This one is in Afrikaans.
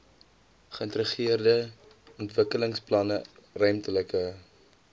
geïntegreerde ontwikkelingsplanne ruimtelike